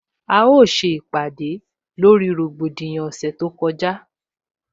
A ó se ìpàdè lórí rògbòdìyàn ọ̀sẹ̀ tó kọjá